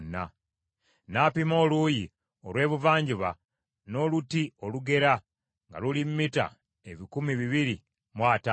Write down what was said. N’apima oluuyi olw’ebuvanjuba n’oluti olugera, nga luli mita ebikumi bibiri mu ataano.